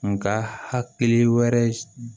Nga hakili wɛrɛ